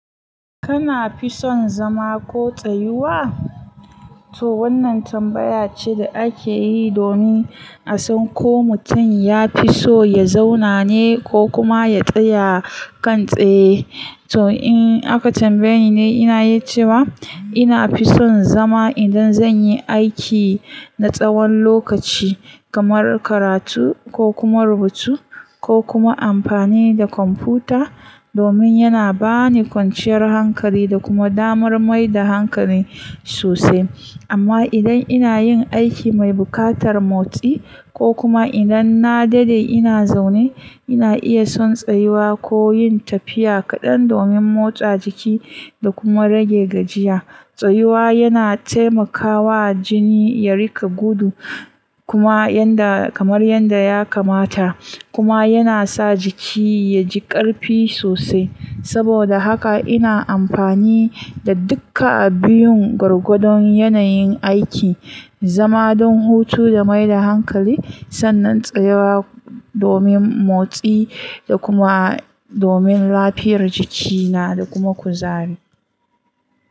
Kana fi son zama ko tsayuwa? To wannan tambaya ce da ake yi domin a san ko mutum ya fi so ya zauna ne ko kuma ya tsaya kantse. To in aka tambaye ni, ina yi cewa ina fi son zama idan zan yi aiki na tsawon lokaci, kamar karatu ko kuma rubutu ko kuma amfani da kwamfuta domin yana ba ni kwanciyar hankali da kuma damar mai da hankali sosai. Amma idan ina yin aiki mai buƙatar motsi ko kuma idan na daɗe ina zaune, ina iya son tsayuwa ko yin tafiya kaɗan domin motsa jiki da kuma rage gajiya. Tsayuwa yana taimakawa jini ya rika gudu kuma kamar yadda ya kamata kuma yana sa jiki ya ji ƙarfi sosai. Saboda haka ina amfani da duka biyun gargadon yanayin aiki, zama don hutu da mai da hankali sannan tsayuwa domin motsi da kuma domin lafiyar jikina da kuma kuzari.